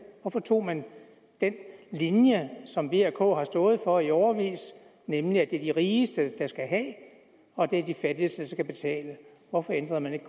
hvorfor tog man den linje som v og k har stået for i årevis nemlig at det er de rigeste der skal have og at det er de fattigste der skal betale hvorfor ændrede man ikke